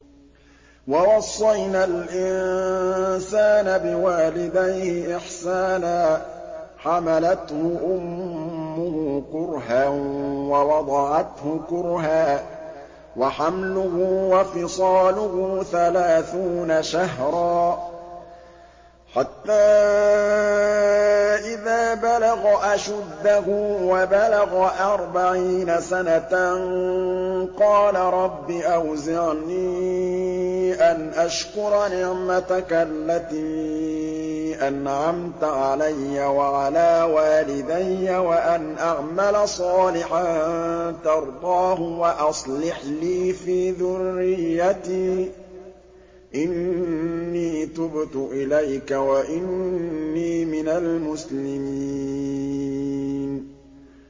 وَوَصَّيْنَا الْإِنسَانَ بِوَالِدَيْهِ إِحْسَانًا ۖ حَمَلَتْهُ أُمُّهُ كُرْهًا وَوَضَعَتْهُ كُرْهًا ۖ وَحَمْلُهُ وَفِصَالُهُ ثَلَاثُونَ شَهْرًا ۚ حَتَّىٰ إِذَا بَلَغَ أَشُدَّهُ وَبَلَغَ أَرْبَعِينَ سَنَةً قَالَ رَبِّ أَوْزِعْنِي أَنْ أَشْكُرَ نِعْمَتَكَ الَّتِي أَنْعَمْتَ عَلَيَّ وَعَلَىٰ وَالِدَيَّ وَأَنْ أَعْمَلَ صَالِحًا تَرْضَاهُ وَأَصْلِحْ لِي فِي ذُرِّيَّتِي ۖ إِنِّي تُبْتُ إِلَيْكَ وَإِنِّي مِنَ الْمُسْلِمِينَ